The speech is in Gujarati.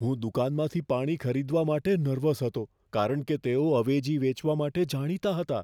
હું દુકાનમાંથી પાણી ખરીદવા માટે નર્વસ હતો કારણ કે તેઓ અવેજી વેચવા માટે જાણીતા હતા.